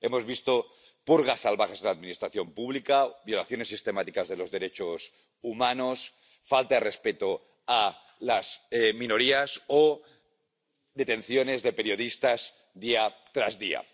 Hemos visto purgas salvajes en la administración pública, violaciones sistemáticas de los derechos humanos, falta de respeto a las minorías o detenciones de periodistas, día tras día.